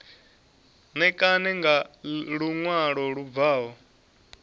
ṋekane nga luṅwalo lu bvaho